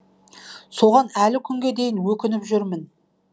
соған әлі күнге дейін өкініп жүрмін